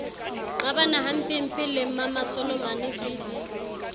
qabana hampempe le mmamasolomane vv